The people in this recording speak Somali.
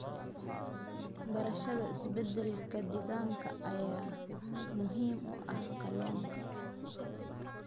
Barashada isbeddelka deegaanka ayaa muhiim u ah kalluunka.